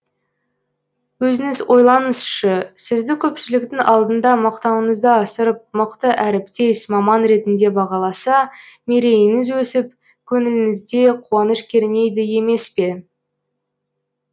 өзіңіз ойлаңызшы сізді көпшіліктің алдында мақтауыңызды асырып мықты әріптес маман ретінде бағаласа мерейіңіз өсіп көңіліңізде қуаныш кернейді емес пе